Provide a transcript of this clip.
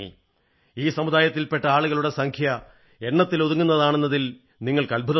ഈ സമുദായത്തിൽപെട്ട ആളുകളുടെ സംഖ്യ എണ്ണത്തിലൊതുങ്ങുന്നതാണെന്നതിൽ നിങ്ങൾക്ക് അദ്ഭുതം തോന്നും